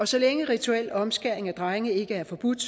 så længe rituel omskæring af drenge ikke er forbudt